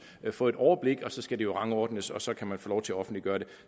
at få et overblik og så skal det jo rangordnes og så kan man få lov til at offentliggøre det